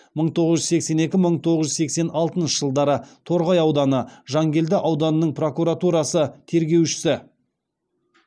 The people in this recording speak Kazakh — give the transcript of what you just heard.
мың тоғыз жүз сексен екі мың тоғыз жүз сексен алтыншы жылдары торғай ауданы жангелді ауданының прокуратурасы тергеушісі